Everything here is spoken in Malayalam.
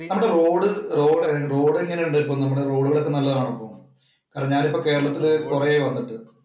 നമ്മുടെ റോഡ് റോഡ് എങ്ങനെയുണ്ട്? നമ്മുടെ റോഡ് ഒക്കെ നല്ലതാണ് ഇപ്പൊ. അല്ല ഞാൻ ഇപ്പൊ കേരളത്തിൽ വന്നിട്ട് കൊറെ ആയി.